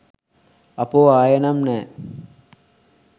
අපෝ ආයේ නම් නෑ